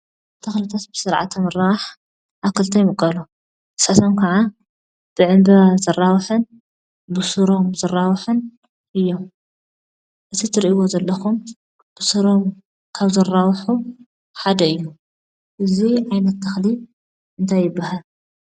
ተኽልታት ብስርዓተ ምርባሕ ኣብ ክልተ ይምቀሉ፡፡ ንሳቶም ከዓ ብዕንበባ ዝራብሑን ብስሮም ዝራሕብሑን እዮም፡፡ እዚ እትሪእዎ ዘለኹም ብስሮም ካብ ዝራብሑ ሓደ እዩ፡፡ እዚ ዓይነታ ተኽሊ እንታይ ይባሃል?